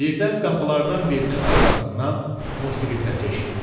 Birdən qapılardan birinin arxasından musiqi səsi eşitdi.